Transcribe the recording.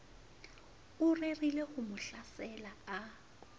o rerileho mo hlasela a